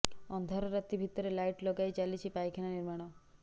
ଅନ୍ଧାର ରାତି ଭିତରେ ଲାଇଟ ଲଗାଇ ଚାଲିଛି ପାଇଖାନା ନିର୍ମାଣ